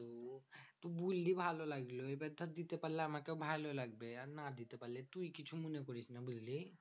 তুই বুল্লি ভালো লাগলো। এবার ধর দিতে পারলে আমাকেও ভালো লাগবে। আর না দিতে পারলে তুই কিছু মনে করিস না বুঝলি?